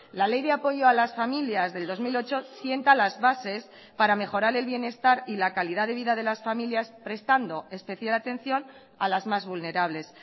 la ley de apoyo a las familias del dos mil ocho sienta las bases para mejorar el bienestar y la calidad de vida de las familias prestando especial atención a las más vulnerables